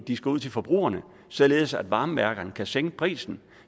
de skal ud til forbrugerne således at varmeværkerne kan sænke prisen